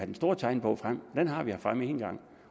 den store tegnebog frem den har vi haft fremme en gang